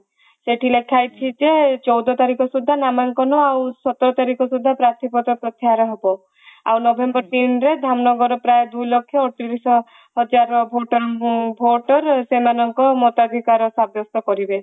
ସେଠି ଲେଖା ହେଇଛି ଯେ ଚଉଦ ତାରିଖ ସୁଧା ନାମାଙ୍କନ ସତର ତାରିଖ ସୁଧା ପାର୍ଥୀ ପଦ ପ୍ରତ୍ୟାହାର ହବ ଆଉ november ତିନ ରେ ଧାମନଗର ପ୍ରାୟ ଦୁଇ ଲକ୍ଷ ଆଡତିରିଶ ହଜାରର ଭୋଟରେ ସେମାନଙ୍କୁ ମତାଧିକାର ସାବ୍ୟସ୍ତ କରିବେ